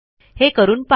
हे करून पहा